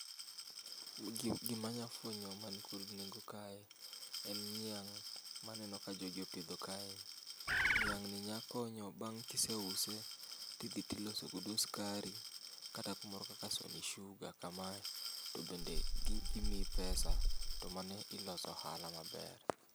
Gi gima anya fwenyo man kod nengo kae en niang' maneno ka jogi opidho kaeni. Niang'ni nya konyo bang' kiseuse tidhi tiloso godo sukari kata kumoro kaka sony sugar kamae. Tobende gimiyi pesa to mano iloso ohala maber.